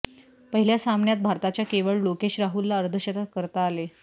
पहिल्या सामन्यात भारताच्या केवळ लोकेश राहुलला अर्धशतक करता आले